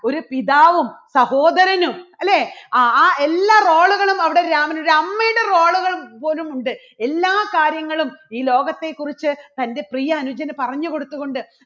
ഒരു പിതാവും സഹോദരനും അല്ലേ ആ ആ എല്ലാ role കളും അവിടെ രാമൻ ഒരു അമ്മയുടെ role കൾ പോലുമുണ്ട് എല്ലാ കാര്യങ്ങളും ഈ ലോകത്തെക്കുറിച്ച് തൻറെ പ്രിയ അനുജന് പറഞ്ഞുകൊടുത്തുകൊണ്ട്